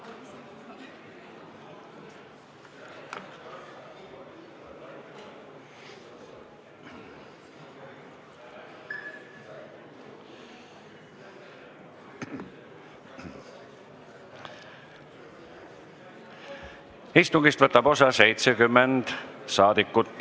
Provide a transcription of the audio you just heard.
Kohaloleku kontroll Istungist võtab osa 70 saadikut.